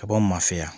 Ka bɔ mafɛ ya